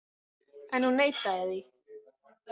En hún neitaði því.